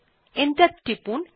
enter টিপুন